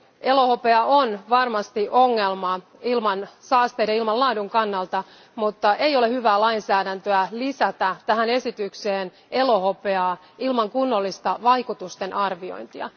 Elohopea on varmasti ongelma ilmansaasteiden ja ilmanlaadun kannalta, mutta ei ole hyvää lainsäädäntöä lisätä tähän esitykseen elohopeaa ilman kunnollista vaikutustenarviointia.